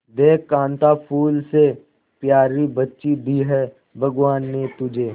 देख कांता फूल से प्यारी बच्ची दी है भगवान ने तुझे